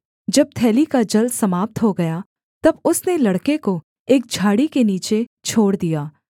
जब थैली का जल समाप्त हो गया तब उसने लड़के को एक झाड़ी के नीचे छोड़ दिया